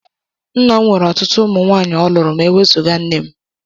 Nna m nwere ọtụtụ umu nwaanyị ọ lụrụ ma e wezụga nne m.